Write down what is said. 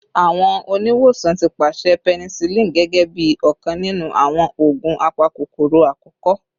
Awọn oniwosan ti paṣẹ penicillin gẹgẹbi ọkan ninu awọn oogun apakokoro akọkọ